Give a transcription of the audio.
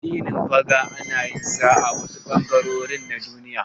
Addinin Faga ana yin sa a wasu ɓangarori na Duniya.